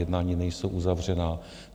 Jednání nejsou uzavřená.